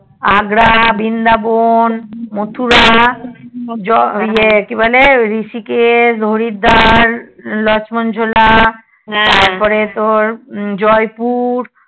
আগ্রা বৃন্দাবোন মথুরা ইয়ে কিবলে ঋষিকেশ হরিদ্বার লক্ষনঝোলা তারপরে তোর জয় পুর